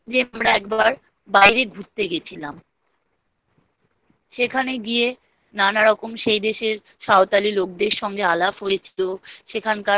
যে আমরা একবার বাইরে ঘুরতে গিয়েছিলাম। সেখানে গিয়ে নানারকম সেই দেশের সাঁওতালি লোকদের সঙ্গে আলাপ হয়েছিল।